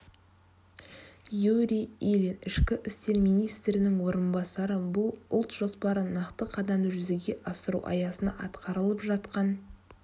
юрий ильин ішкі істер министрінің орынбасары бұл ұлт жоспары нақты қадамды жүзеге асыру аясында атқарылып жатқан